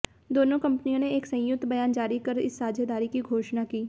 दोनों कंपनियों ने एक संयुक्त बयान जारी कर इस साझेदारी की घोषणा की